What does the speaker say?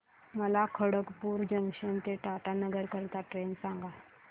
मला खडगपुर जंक्शन ते टाटानगर करीता ट्रेन सांगा